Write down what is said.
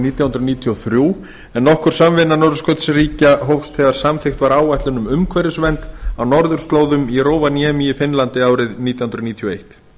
nítján hundruð níutíu og þrjú en nokkur samvinna norðurskautsríkja hófst þegar samþykkt var áætlun um umhverfisvernd á norðurslóðum í rovaniemi í finnlandi árið nítján hundruð níutíu og eitt ráðstefnan